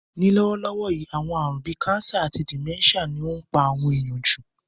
Ní lówólówó yi, àwon àrún bi cancer àti dementia ni o n pa àwon èyàn jù